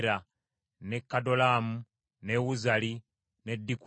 ne Kadolaamu, ne Uzali, ne Dikula,